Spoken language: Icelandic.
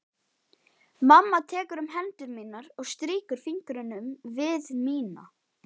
Mamma tekur um hendur mínar og strýkur fingrunum við mína.